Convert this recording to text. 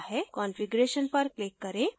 configuration पर click करें